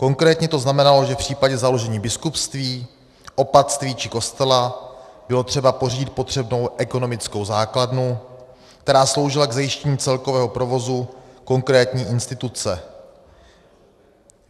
Konkrétně to znamenalo, že v případě založení biskupství, opatství či kostela bylo třeba pořídit potřebnou ekonomickou základnu, která sloužila k zajištění celkového provozu konkrétní instituce.